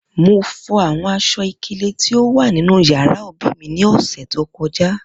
Mo fo awọn aṣọ-ikele ti o wa ninu yara obi mi ni ọsẹ to kọja.